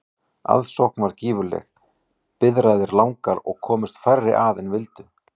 Aðsókn varð gífurleg, biðraðir langar og komust færri að en vildu.